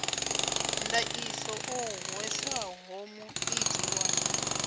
ndaṱiso o hweswaho muiti wa